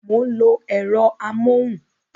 Mo ń lo ẹ̀rọ amóhùn